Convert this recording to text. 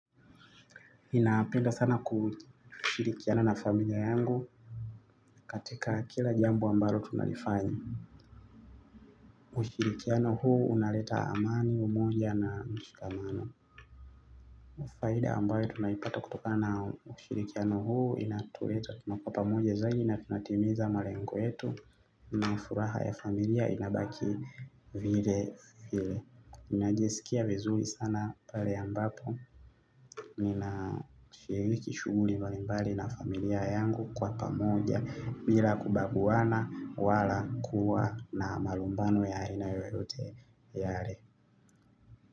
Ninapenda sana kushirikiana na familia yangu katika kila jambo ambalo tunalifanya ushirikiano huu unaleta amani umoja na mshikamano faida ambayo tunaipata kutoka na ushirikiano huu inatuleta tunakuwa pamoja zaidi na tunatimiza malengo yetu na furaha ya familia inabaki vile vile inajasikia vizuri sana pale ambapo ninashiriki shughuli mbalimbali na familia yangu kwa pamoja. Bila kubaguana wala kuwa na malumbano ya aina yoyote yale.